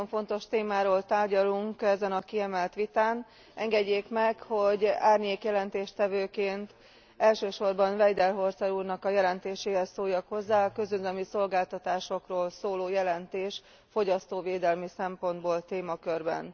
Nagyon fontos témáról tárgyalunk ezen a kiemelt vitán. Engedjék meg, hogy árnyék jelentéstevőként elsősorban Weidenholzer úrnak a jelentéséhez szóljak hozzá a közüzemi szolgáltatásokról szóló jelentés fogyasztóvédelmi szempontból témakörben.